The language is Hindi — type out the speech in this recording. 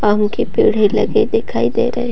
आम के पेड़ है लगे दिखाई दे रहे।